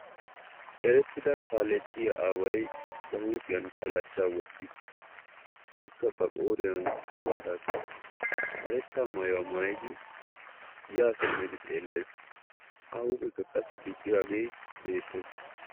Eretida kaaletiyaa aaway ha huuphiyaan kalacha wottiis ikka ba qooriyaan karbbata qachchiis karetta maayuwaa maayyidi ya simmidi xeellees; A huuphekka qassi diccidaage beettees.